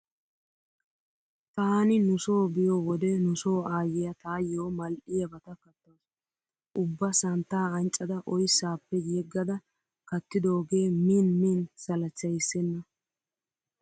Taani nu so biyo wode nu so aayyiya taayyoo mal'yabata kattawusu. Ubba santta anccada oyssaappe yeggada kattidoogee miin miin salachchyissenna.